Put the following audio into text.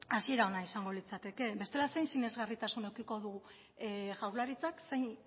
hasiera ona izango litzateke bestela zein sinesgarritasun edukiko du jaurlaritzak zein